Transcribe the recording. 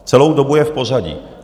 Celou dobu je v pořadí.